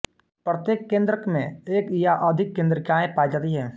प्रत्येक केंद्रक में एक या अधिक केंद्रिकाएँ पाई जाती हैं